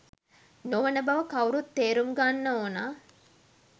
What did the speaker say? නොවන බව කවුරුත් තේරුම් ගන්න ඕන.